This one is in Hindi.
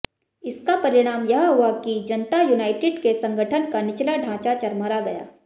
इसका परिणाम यह हुआ कि जनता यूनाइडेट के संगठन का निचला ढांचा चरमरा गया